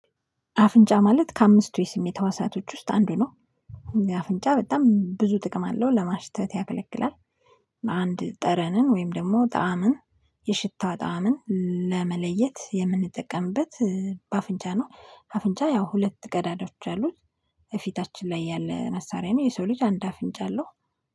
አፍንጫ ማለት ከአምስቱ የስሜት ህዋሳቶች ውስጥ አንዱ ነው። አፍንጫ በጣም ብዙ ጥቅም አለው ለማሽተት ያገለግላል። አንድ ጠረንን ወይም ደሞ ጣዕምን የሽታ ጣዕምን ለመለየት የምንጠቀምበት በአፍንጫ ነው። አፍንጫ ያው ሁለት ቀዳዳዎች አሉት። ከፊታችን ላይ ያለ መሳሪያ ነው። የሰው ልጅ አንድ አፍንጫ አለው